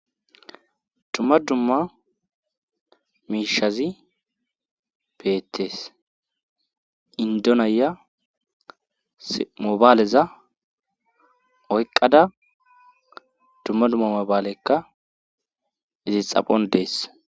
Dumma dumma miishazi beetees indonaya mobaaleza oyqqada dumma dumma mobaalekka ezis xaphon dees.